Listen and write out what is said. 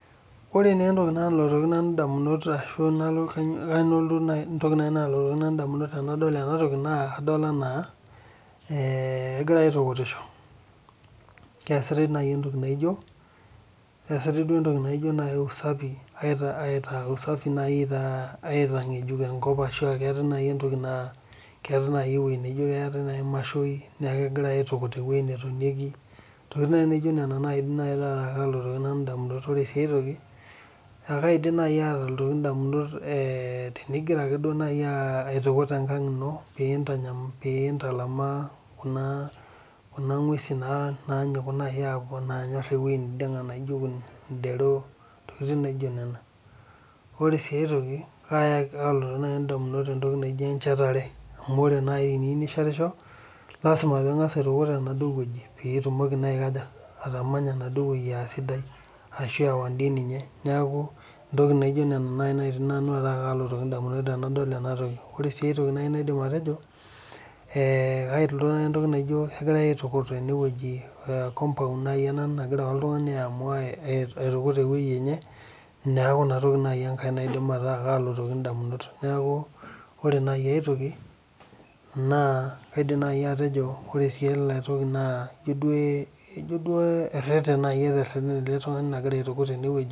Ore naa entoki nalotu Nanu damunot tenadol ena toki naa kadol anaa egirae aitukutisho. eesitae duo entoki naijo, entoki naijo usafi naaji aitangejuk enkop, ashu entoki naa, keetae naaji ewueji naijo mashini, neeku keetae naai ewueji netonieki, intokitin naaji naijo ntokitin. ore sii ae toki, ekaidim naaji ayeu idamunot tenigira ake naaji aa aitukut enkang ino pee intalamaa kuna nguesin naanyiku naaji aajing ewueji neidinga naijo kunen. idero, ntokitin naijo nena. ore sii aitoki kaalotu naaji damunot entoki naijo enchetare. amu ore naaji teniyieu nishetisho naa lasima pee ingas aitukut ine wueji. pee itumoki naa ashu .neeku entoki naijo Ina naalotu nanu damunot tenadol ena. Toki. Ore sii ae toki naaji naidim atejo, kegirae aitukut ene wueji, compound naaji ena ae tukut e wueji enye